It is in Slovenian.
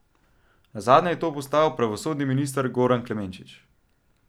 Nazadnje je to postal pravosodni minister Goran Klemenčič.